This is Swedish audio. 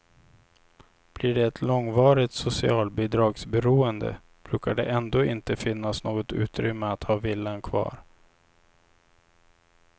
Blir det ett långvarigt socialbidragsberoende brukar det ändå inte finnas något utrymme att ha villan kvar.